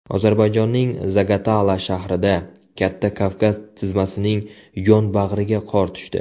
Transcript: Ozarbayjonning Zagatala shahrida, Katta Kavkaz tizmasining yonbag‘riga qor tushdi.